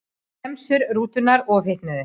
Bremsur rútunnar ofhitnuðu